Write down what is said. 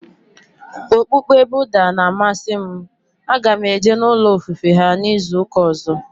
Okpukpe Budha na amasị m, a ga m eje n'ulo ofufe ha n'izuka ọzọ